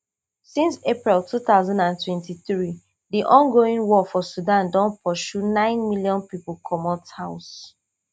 since april two thousand and twenty-three di ongoing war for sudan don pursue nine million pipo comot house